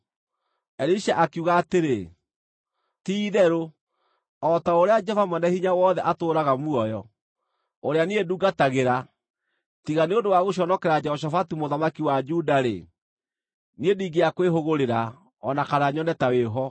Elisha akiuga atĩrĩ, “Ti-itherũ o ta ũrĩa Jehova Mwene-Hinya-Wothe atũũraga muoyo, ũrĩa niĩ ndungatagĩra, tiga nĩ ũndũ wa gũconokera Jehoshafatu mũthamaki wa Juda-rĩ, niĩ ndingĩakwĩhũgũrĩra o na kana nyone ta wĩ ho.